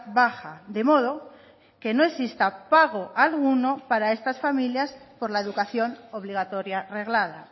baja de modo que no exista pago alguno para estas familias por la educación obligatoria reglada